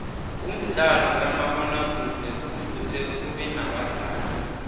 umdlalo kamabona kude kufuze ubenabadlali